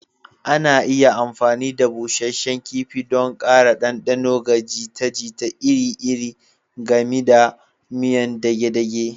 Ana iya amfani da busasshen kifi don ƙara ɗanɗano ga jita-jita iri-iri, gami da miyan dage-dage